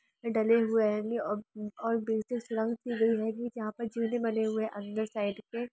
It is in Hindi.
यहाँ पर किला हैगा जहा पर काफी पेड़ पौधे भी हुए हैंगे यहाँ पे काफी घांस भी हैंगे